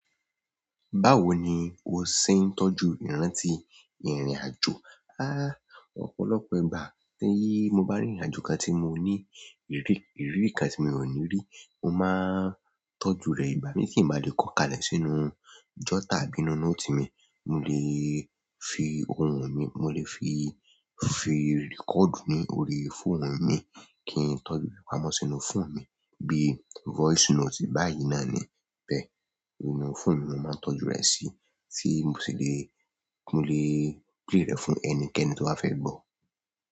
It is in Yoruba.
Báwo ni o ṣe ń tọ́jú ìrántì ìrìn-àjò? Háá, ọ̀pọ̀lọpọ̀ ìgbà tí mo bá rìnrìn-àjò kan tí mo ní ìrí, ìrírí kan tí mo ò ní rí, mo máa ń tọ́jú rẹ̀. Ìgbà mí tín bá le kọ́ ka lẹ̀ sínú jọ́tà àbí inú nóòtì mi, mo lè fi ohun mi, mo lè fi, fi rẹ́kọ̀dù ní orí fóònù mi kí n tọ́jú ìpamọ́ sínú fóònù mi bí i voice note. Báyìí náà ni, bẹ́, inú fóònù mi ni mo máa ń tọ́jú rẹ̀ sí, tí mo sì le, mo lè play rẹ̀ fún ẹnikẹ́ni tóbá fẹ́ gbọ́.